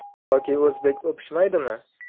Yoki o‘zbek o‘pishmaydimi?